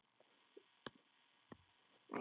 Hún lítur á hann mædd á svip.